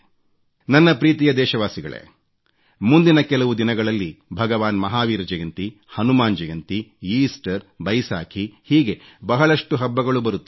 ನನ್ನ ಪ್ರೀತಿಯ ದೇಶವಾಸಿಗಳೇ ಮುಂದಿನ ಕೆಲವು ದಿನಗಳಲ್ಲಿ ಭಗವಾನ್ ಮಹಾವೀರ ಜಯಂತಿ ಹನುಮಾನ್ ಜಯಂತಿ ಈಸ್ಟರ್ ಬೈಸಾಖಿ ಹೀಗೆ ಬಹಳಷ್ಟು ಹಬ್ಬಗಳು ಬರುತ್ತಿವೆ